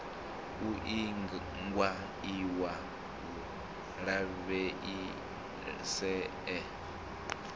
u iingwa iwa u lavheieswa